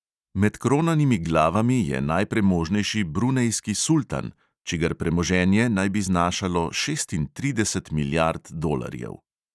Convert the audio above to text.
Med kronanimi glavami je najpremožnejši brunejski sultan, čigar premoženje naj bi znašalo šestintrideset milijard dolarjev.